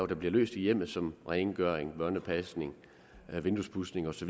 der bliver løst i hjemmet som rengøring børnepasning vinduespudsning osv